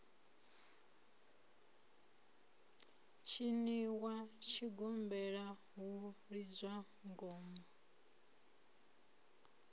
tshiniwa tshigombela hu lidzwa ngoma